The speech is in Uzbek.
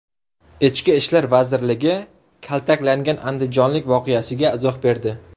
Ichki ishlar vazirligi kaltaklangan andijonlik voqeasiga izoh berdi.